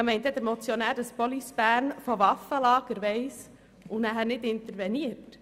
Denkt denn der Motionär, dass die Police Bern von Waffenlagern weiss und nicht interveniert?